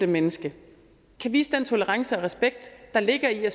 menneske kan vise den tolerance og respekt der ligger i at